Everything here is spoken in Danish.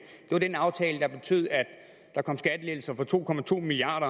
det var den aftale der betød at der kom skattelettelser for to to milliard